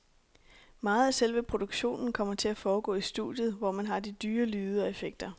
Meget af selve produktionen kommer til at foregå i studiet, hvor man har de dyre lyde og effekter.